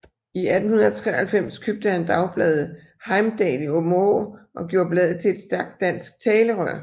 I 1893 købte han dagbladet Heimdal i Aabenraa og gjorde bladet til et stærkt dansk talerør